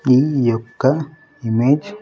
ఈ యొక్క ఇమేజ్ .